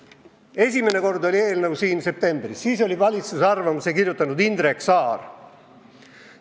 Esimene kord oli eelnõu siin septembris, siis oli valitsuse arvamuse kirjutanud Indrek Saar.